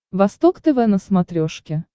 восток тв на смотрешке